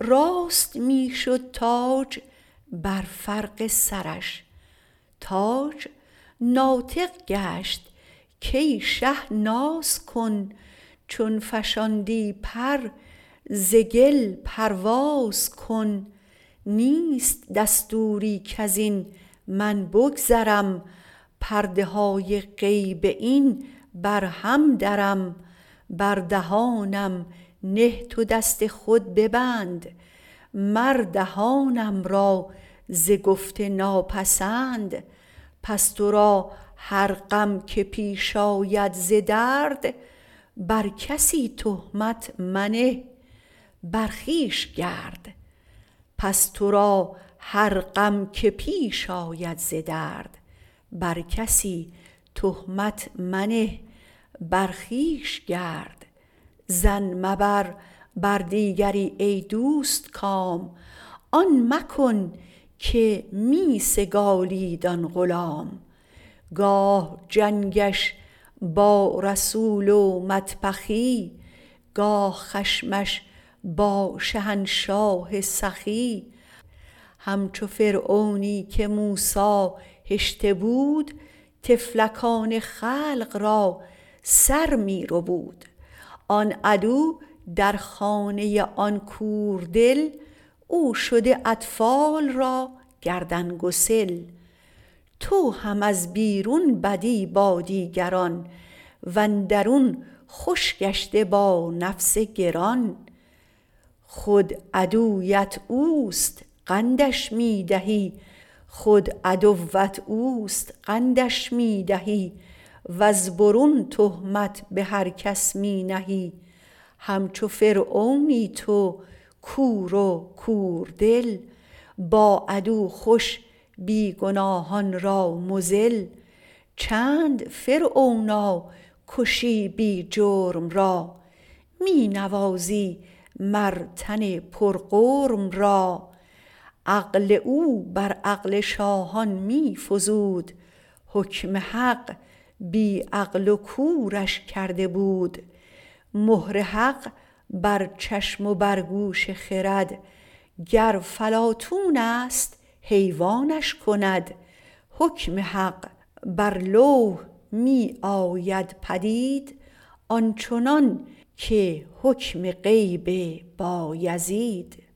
راست می شد تاج بر فرق سرش تاج ناطق گشت کای شه ناز کن چون فشاندی پر ز گل پرواز کن نیست دستوری کزین من بگذرم پرده های غیب این برهم درم بر دهانم نه تو دست خود ببند مر دهانم را ز گفت ناپسند پس ترا هر غم که پیش آید ز درد بر کسی تهمت منه بر خویش گرد ظن مبر بر دیگری ای دوستکام آن مکن که می سگالید آن غلام گاه جنگش با رسول و مطبخی گاه خشمش با شهنشاه سخی هم چو فرعونی که موسی هشته بود طفلکان خلق را سر می ربود آن عدو در خانه آن کور دل او شده اطفال را گردن گسل تو هم از بیرون بدی با دیگران واندرون خوش گشته با نفس گران خود عدوت اوست قندش می دهی وز برون تهمت به هر کس می نهی هم چو فرعونی تو کور و کوردل با عدو خوش بی گناهان را مذل چند فرعونا کشی بی جرم را می نوازی مر تن پر غرم را عقل او بر عقل شاهان می فزود حکم حق بی عقل و کورش کرده بود مهر حق بر چشم و بر گوش خرد گر فلاطونست حیوانش کند حکم حق بر لوح می آید پدید آنچنان که حکم غیب بایزید